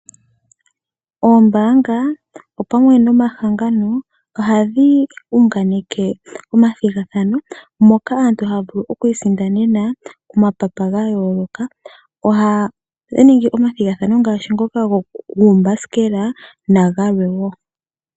Oombanga opamwe nomahangano ohadhi hunganeke omathigathano moka aantu haya vulu okwiisindanena omapapa gayoloka, ohaya ningi omathigathano ngaashi ngoka gumbasikela na galwe wo.